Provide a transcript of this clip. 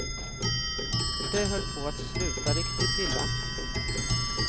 Det höll på att sluta riktigt illa.